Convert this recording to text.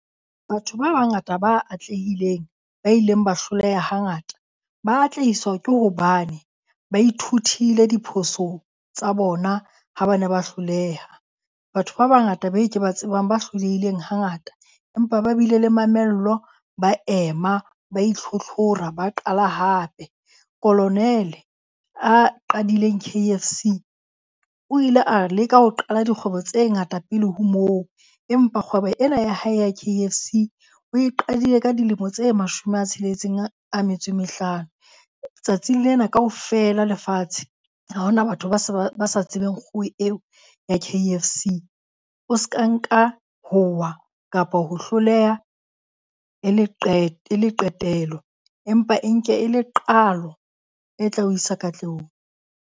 Batho ba bangata ba atlehileng, ba ileng ba hloleha hangata, ba atlehiswa ke hobane ba ithutile diphosong tsa bona ha ba na ba hloleha. Batho ba bangata ba e ke ba tsebang ba hlolehileng hangata, empa ba bile le mamello, ba ema ba itlhotlhora, ba qala hape. Kolonele a qadileng K_F_C o ile a leka ho qala dikgwebo tse ngata pele ho moo. Empa kgwebo ena ya hae ya K_F_C o e qadile ka dilemo tse mashome a tsheletseng a metso e mehlano. Tsatsing lena kaofela lefatshe, ha hona batho ba sa ba sa tsebeng kgoho eo ya K_F_C. O ska nka ho wa kapa ho hloleha e le e le qetelo, empa e nke e le qalo, e tla o isa katlehong.